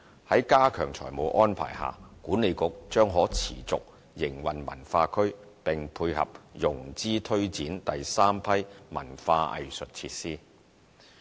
在加強財務安排下，西九管理局將可持續營運文化區，並配合融資推展第三批文化藝術設施。